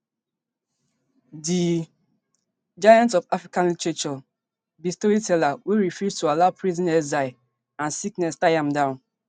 di giant of modern african literature be storyteller wey refuse to allow prison exile and sickness tie am down